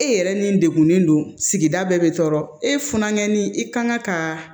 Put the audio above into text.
E yɛrɛ ni degunnen don sigida bɛɛ be tɔɔrɔ e funuŋɛni i kan ka